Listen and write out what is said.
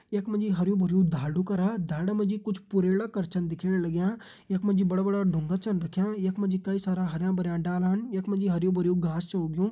यख मा जी हरयूं भरयूं ढालडु करा ढालडा मा जी कुछ पुढेड़ा कर छन दिखेण लग्यां यख मा जी बड़ा बड़ा डुंगा छन रख्यां यख मा जी कई सारा हरयां भरयां डालान यख मा जी हरयूं भरयूं घास छ उगयूं।